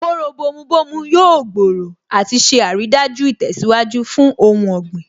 Kóró bomu bomu yóò gbòòrò àti ṣe àrídájú ìtẹ̀síwájú fún ohun ọ̀gbìn